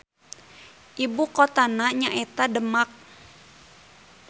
Ibukotana nyaeta Demak.